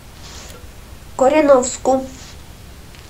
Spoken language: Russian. кореновску